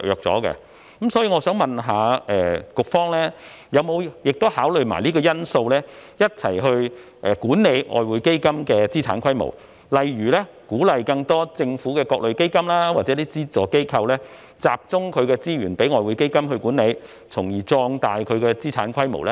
所以，我想問局方有否同時考慮這因素，一併管理外匯基金的資產規模，例如鼓勵把更多的政府各類基金或資助機構資源集中起來，連同外匯基金一併作出管理，從而壯大其資產規模呢？